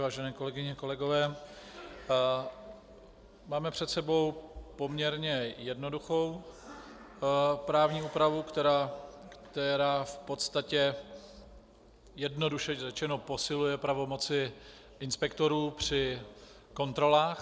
Vážené kolegyně, kolegové, máme před sebou poměrně jednoduchou právní úpravu, která v podstatě, jednoduše řečeno, posiluje pravomoci inspektorů při kontrolách.